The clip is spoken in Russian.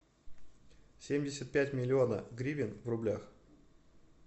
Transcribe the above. семьдесят пять миллиона гривен в рублях